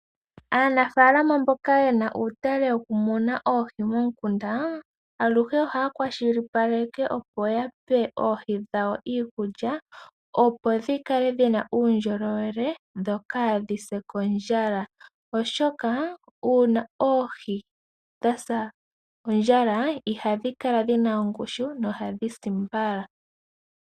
Aanafaalama mboka yena uutale wokumuna oohi momukanda, aluhe ohaya kwashilipaleke opo yape oohi dhawo iikulya opo dhikale dhina uundjolowele dho kaadhi se kondjala oshoka uuna oohi dhasa ondjala iha dhi kala dhina ongushu no hadhi si mbala